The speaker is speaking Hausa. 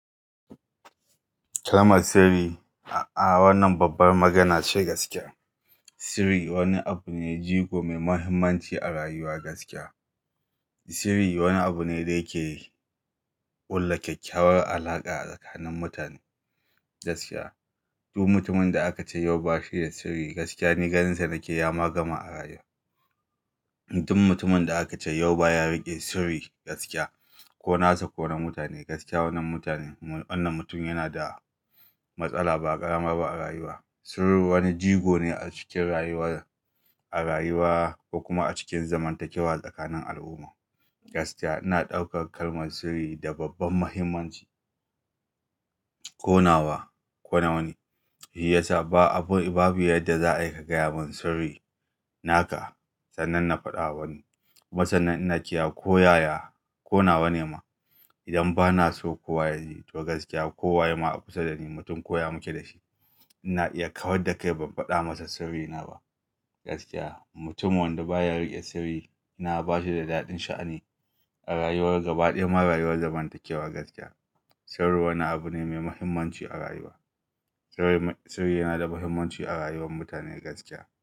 Kalmar sirri, a-a wannan babbar magana ce gaskiya. Sirri wani abu ne, jigo mai muhimmanci a rayuwa gaskiya. Sirri wani abu ne da yake ƙulla kyakkyawar alaƙa a tsakanin mutane gaskiya. Duk mutumin da akace yau ba shi da sirri gaskiya, ni ganinsa nake ya ma gama arayuwa. Sirri wani abu ne, jigo mai muhimmanci a rayuwa gaskiya. Sirri wani abu ne da yake ƙulla kyakkyawar alaƙa a tsakanin mutane gaskiya, duk mutumin da akace yau ba shi da sirri gaskiya, ni ganinsa nake ya ma gama a rayuwa. Sirru wani jigo ne a cikin rayuwa, a rayuwa kokuma a cikin zamantakewa tsakanin al'umma gaskiya. Ina ɗaukar kalmar sirri da babban muhimmanci. Ko nawa, kona wani, shi yasa ba abu, babu yadda za a yi ka gaya mun sirri naka sannan na faɗawa wani, kuma sanan ina kiyaye, ko yaya, ko nawa ne ma idan ba na so kowa ya ji. To gaskiya, kowa ye ma a kusa da ni mutum koya muke da shi, ina iya kawar da kai ban faɗa masa sirrina ba gaskiya. Mutum wanda ba ya riƙe sirri, na ba shi da daɗin sha'ani a rayuwar gaba ɗaya ma rayuwar zamantakewa gaskiya. Sirri wani abu ne mai muhimmanci a rayuwa. Sirri yana da muhimmanci a rayuwar mutane gaskiya.